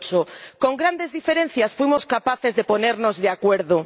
2008. Con grandes diferencias fuimos capaces de ponernos de acuerdo.